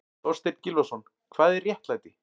Þorstein Gylfason, Hvað er réttlæti?